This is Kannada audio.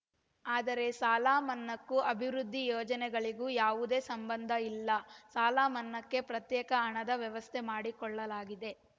ಆದರೆ ಸಾಲ ಮನ್ನಾಕ್ಕೂ ಅಭಿವೃದ್ದಿ ಯೋಜನೆಗಳಿಗೂ ಯಾವುದೇ ಸಂಬಂಧ ಇಲ್ಲ ಸಾಲ ಮನ್ನಾಕ್ಕೆ ಪ್ರತ್ಯೇಕ ಹಣದ ವ್ಯವಸ್ಥೆ ಮಾಡಿಕೊಳ್ಳಲಾಗಿದೆ